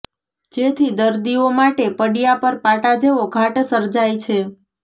જેથી દર્દીઓ માટે પડ્યા પર પાટા જેવો ઘાટ સર્જાય છે